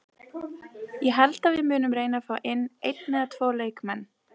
Ég held að við munum reyna fá inn einn eða tvo leikmenn.